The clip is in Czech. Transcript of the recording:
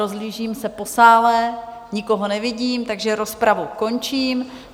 Rozhlížím se po sále, nikoho nevidím, takže rozpravu končím.